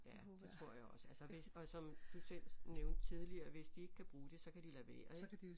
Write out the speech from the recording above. Ja det tror jeg også altså hvis og som du selv nævnte tidligere hvis de ikke kan bruge det så kan de lade være ik